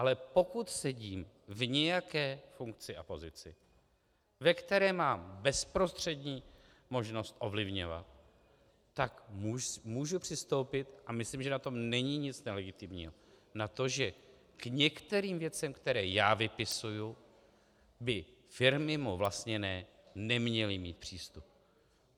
Ale pokud sedím v nějaké funkci a pozici, ve které mám bezprostřední možnost ovlivňovat, tak můžu přistoupit, a myslím, že na tom není nic nelegitimního, na to, že k některým věcem, které já vypisuji, by firmy mnou vlastněné neměly mít přístup.